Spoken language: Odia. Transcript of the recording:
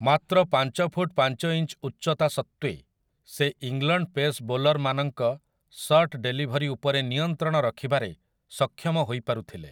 ମାତ୍ର ପାଞ୍ଚ ଫୁଟ୍ ପାଞ୍ଚ ଇଞ୍ଚ୍ ଉଚ୍ଚତା ସତ୍ତ୍ୱେ ସେ ଇଂଲଣ୍ଡ ପେସ୍ ବୋଲର୍ ମାନଙ୍କ ସର୍ଟ୍ ଡେଲିଭରି ଉପରେ ନିୟନ୍ତ୍ରଣ ରଖିବାରେ ସକ୍ଷମ ହୋଇ ପାରୁଥିଲେ ।